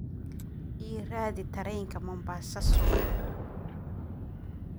i raadi tareenka mombasa subax